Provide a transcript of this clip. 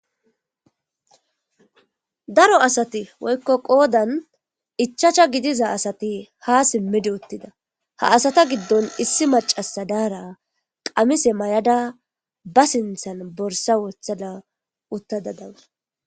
Daro asati woyikko qodan ichachcha gidiza asati ha simidi utida ha asata gidon issi macasa dara qamise mayada ba sintan borisa wotada utada daus.